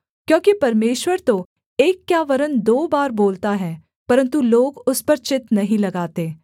क्योंकि परमेश्वर तो एक क्या वरन् दो बार बोलता है परन्तु लोग उस पर चित्त नहीं लगाते